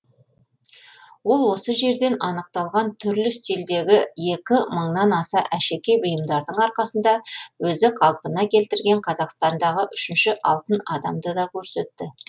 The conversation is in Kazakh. ол осы жерден анықталған түрлі стильдегі екі мыңнан аса әшекей бұйымдардың арқасында өзі қалпына келтірген қазақстандағы үшінші алтын адамды да көрсетті